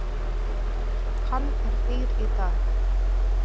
Hann er dýr í dag.